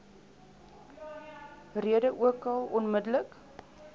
rede ookal onmiddellik